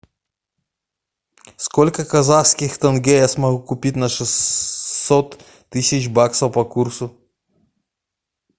сколько казахских тенге я смогу купить на шестьсот тысяч баксов по курсу